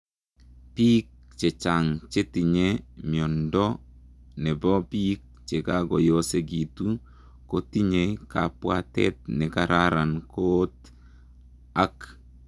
Piik chechang chetinyee miondoo nepoo piik chekakoosegituu kotinyee kabwatet nekararan koot ak